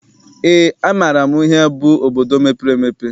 Eé, amaara m ihe bụ obodo mepere emepe.